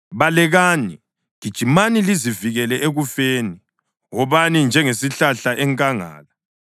Balekani! Gijimani lizivikele ekufeni; wobani njengesihlahla enkangala.